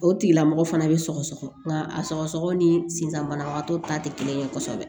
O tigilamɔgɔ fana bɛ sɔgɔsɔgɔ nka a sɔgɔsɔgɔ ni sisan banabagatɔ ta tɛ kelen ye kosɛbɛ